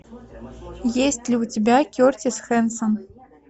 есть ли у тебя кертис хэнсон